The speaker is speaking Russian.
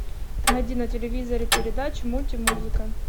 найди на телевизоре передачу мульти музыка